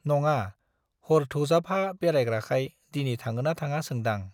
नङा, हर थौजाफा बेरायग्राखाय दिनै थाङोना थाङा सोंदां।